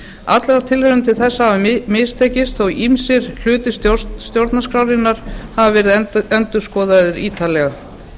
allar tilraunir til þess hafa mistekist þótt ýmsir hlutar stjórnarskrárinnar hafi verið endurskoðaðir ítarlega